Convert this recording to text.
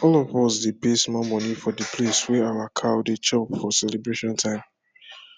all of us dey pay small money for d place wey our cow dey chop for celebration time